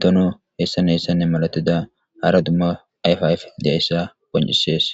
dono heessan hessanne malatida hara dumma ayfayf diyayssa poncisees.